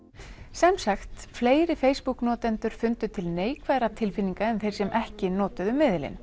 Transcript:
sem sagt fleiri Facebook notendur fundu til neikvæðra tilfinninga en þeir sem ekki notuðu